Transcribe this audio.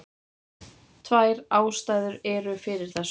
Tvær ástæður eru fyrir þessu.